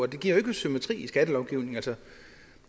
det giver jo ikke symmetri i skattelovgivningen